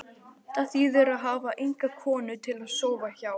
Það þýðir að hafa enga konu til að sofa hjá.